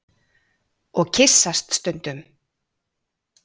Og kyssast stundum.